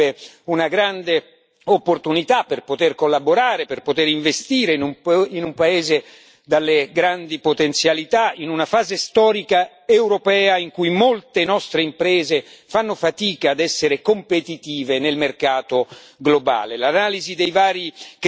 L'ingresso dell'Albania sarebbe una grande opportunità per poter collaborare, per poter investire in un paese dalle grandi potenzialità, in una fase storica europea in cui molte nostre imprese fanno fatica ad essere competitive nel mercato globale.